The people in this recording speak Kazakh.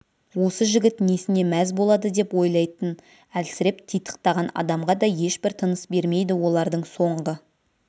осы жігіт несіне мәз болады деп ойлайтын әлсіреп титықтаған адамға да ешбір тыныс бермейді олардың соңғы